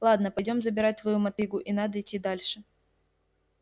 ладно пойдём забирать твою мотыгу и надо идти дальше